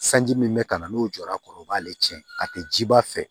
Sanji min bɛ ka na n'o jɔra a kɔrɔ o b'ale tiɲɛ a tɛ jiba fɛ